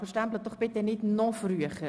Aber bitte stempeln Sie nicht noch früher.